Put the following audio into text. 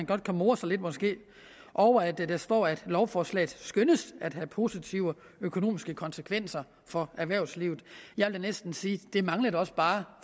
godt more sig lidt over at der står at lovforslaget skønnes at have positive økonomiske konsekvenser for erhvervslivet jeg vil næsten sige det manglede da også bare